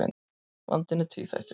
Vandinn er tvíþættur.